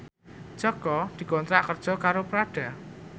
Jaka dikontrak kerja karo Prada